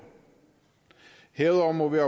herudover må vi